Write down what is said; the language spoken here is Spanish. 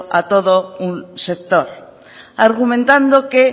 a todo un sector argumentando que